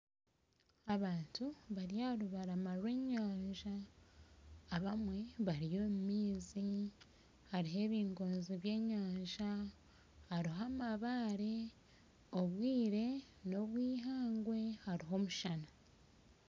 Abantu bari aharubarama rw'enyanja abamwe bari omu maizi hariho ebingonzi by'enyanja hariho amabaare obwire nobwihangwe hariho omushana